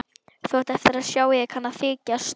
Þú átt eftir að sjá að ég kann að þykjast.